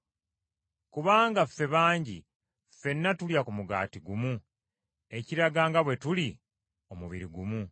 Kubanga ffe bangi, ffenna tulya ku mugaati gumu, ekiraga nga bwe tuli omubiri ogumu.